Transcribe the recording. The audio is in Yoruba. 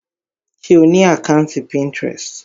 Ṣe o ni àkàntí Pinterest?